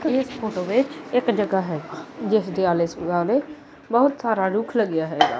ਤੇ ਇਹ ਫੋਟੋ ਵਿੱਚ ਇੱਕ ਜਗਾਹ ਹੈ ਜਿਸਦੇ ਆਲ਼ੇ ਦਵਾਲੇ ਬਹੁਤ ਸਾਰਾ ਰੁੱਖ ਲੱਗਿਆ ਹੈਗਾ।